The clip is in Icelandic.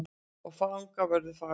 Og fangavörður fagur.